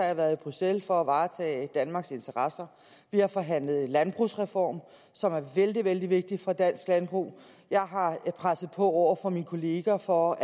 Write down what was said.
jeg været i bruxelles for at varetage danmarks interesser vi har forhandlet landbrugsreform som er vældig vældig vigtig for dansk landbrug jeg har presset på over for mine kolleger for